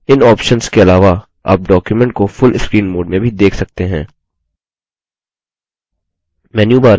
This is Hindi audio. इन options के अलावा आप document को full screen mode में भी देख सकते हैं